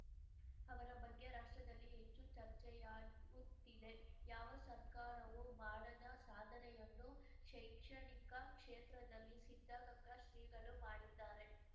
ಅವರ ಬಗ್ಗೆ ರಾಷ್ಟ್ರದಲ್ಲಿ ಹೆಚ್ಚು ಚರ್ಚೆಯಾಗುತ್ತಿದೆ ಯಾವ ಸರ್ಕಾರವೂ ಮಾಡದ ಸಾಧನೆಯನ್ನು ಶೈಕ್ಷಣಿಕ ಕ್ಷೇತ್ರದಲ್ಲಿ ಸಿದ್ಧಗಂಗಾ ಶ್ರೀಗಳು ಮಾಡಿದ್ದಾರೆ